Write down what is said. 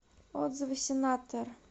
отзывы сенатор